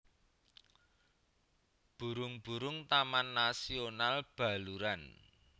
Burung burung Taman Nasional Baluran